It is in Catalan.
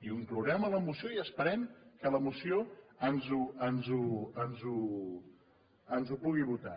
i ho inclourem a la moció i esperem que a la moció ens ho pugui votar